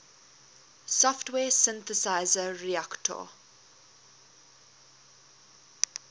software synthesizer reaktor